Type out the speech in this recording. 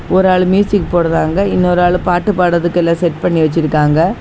ஒரு ஆளு மியூசிக் போடுறாங்க இன்னொரு ஆளு பாட்டு பாடறதுக்கு எல்லாம் செட் பண்ணி வச்சிருக்காங்க.